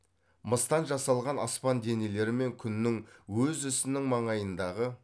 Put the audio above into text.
мыстан жасалған аспан денелері мен күннің өз ісінің маңайындағы